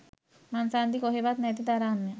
මංසන්ධි කොහෙවත් නැති තරම්ය